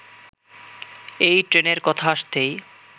এই ট্রেনের কথা আসতেই